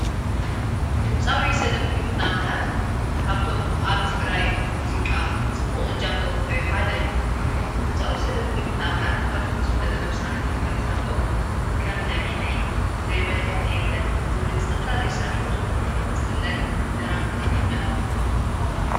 ድምጻዊ ሰለሙን ኹና ኣምላኽ ካብቶም ኣብ ትግራይ ሙዚቃ ጽቡቕ እጃም ዘወህፈዮ ሓደ እዩ ድምጻዊ ሰለሙኒ ኩና ኣምላኽ ካብቶም ዝፍለጥ ለም ሥራሕእቶም ድርፍታቶም ከም ለሚነይ ዘይበልክኔየለን ዝብል ዝተፈላለይ ሥራሕቱ ዝፍለጥ ለራፊ ትግርኛ እዩ::